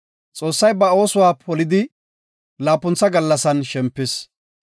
Xoossay ba oosuwa polidi, laapuntha gallasan shempis.